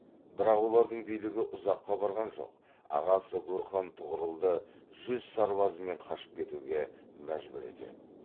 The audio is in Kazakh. бірақ олардың билігі ұзаққа барған жоқ ағасы гурхан тұғырылды жүз сарбазымен қашып кетуге мәжбүр етеді